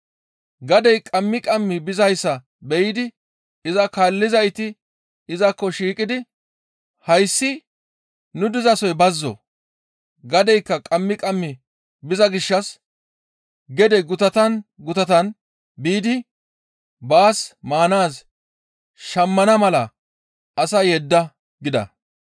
Gadey qammi qammi bizayssa be7idi iza kaallizayti izakko shiiqidi, «Hayssi nu dizasoy bazzo; gadeykka qammi qammi biza gishshas gede gutatan gutatan biidi baas maanaaz shammana mala asaa yedda» gida.